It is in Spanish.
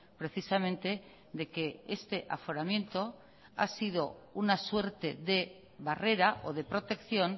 precisamente de que este aforamiento ha sido una suerte de barrera o de protección